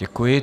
Děkuji.